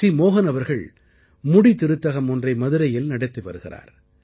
மோஹன் அவர்கள் முடிதிருத்தகம் ஒன்றை மதுரையில் நடத்தி வருகிறார்